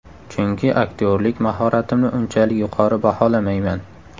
Chunki aktyorlik mahoratimni unchalik yuqori baholamayman.